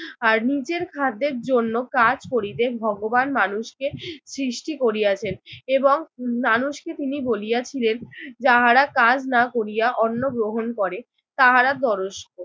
আর নিজের খাদ্যের জন্য কাজ করিতে ভগবান মানুষকে সৃষ্টি করিয়াছেন এবং মানুষকে তিনি বলিয়াছিলেন যাহারা কাজ না করিয়া অন্ন গ্রহণ করে তাহারা দরশ।